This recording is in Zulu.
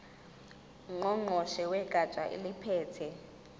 ngqongqoshe wegatsha eliphethe